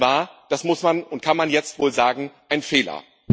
Das war das muss und kann man jetzt wohl sagen ein Fehler.